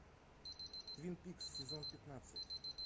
твин пикс сезон пятнадцать